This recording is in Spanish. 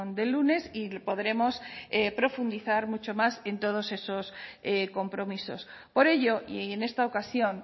del lunes y podremos profundizar mucho más en todos esos compromisos por ello y en esta ocasión